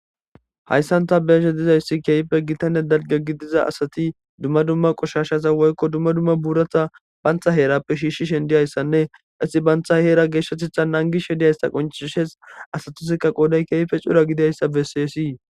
Hayssan ta beyeshe dizayssi keyfe gitane dalge gi diza asati dumma dumma qoshashasa woykko dumma dumma buuratha bantha heerappe shiishshi shen diyayssanne qasi bantha heera geeshshatetha nangi she diyayssa qoncishes asatusikka qooday keeyfe cura gidayssa beseesii.